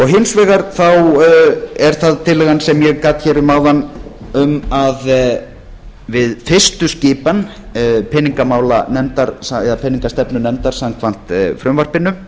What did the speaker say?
hins vegar er það tillagan sem ég gat hér um áðan um að við fyrstu skipan peningamálanefndar eða peningastefnunefndar samkvæmt frumvarpinu